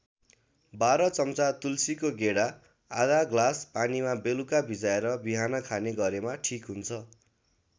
१२ चम्चा तुलसीको गेडा आधा ग्लास पानीमा बेलुका भिजाएर बिहान खाने गरेमा ठिक हुन्छ।